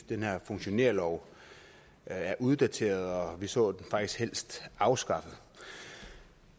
den her funktionærlov er uddateret og vi så den faktisk helst afskaffet